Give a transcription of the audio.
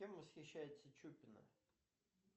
кем восхищается чупина